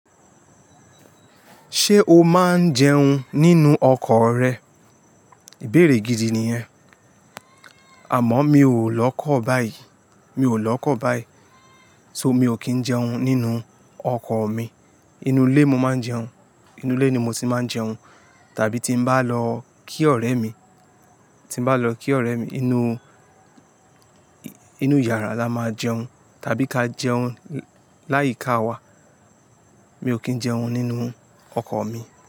Ṣé o máa ń jẹun nínú ọkọ̀ rẹ? Ìbéèrè gidi nìyẹn. Àmọ́ mi ò lọ́kọ̀ báyìí, mi ò lọ́kọ̀ báyìí, só mi ò kí ń jẹun nínú ọkọ̀ mi. Inú ilé mo máa ń jẹun, inú ilé ni mo ti máa ń jẹun, tàbí tí m bá lọ kí ọ̀rẹ́ mi, tí m bá lọ kí ọ̀rẹ́ mi, inú, inú yàrá la máa jẹun, tàbí ká jẹun láyìíká wa. Mi ò kí ń jẹun nínú ọkọ̀ mi.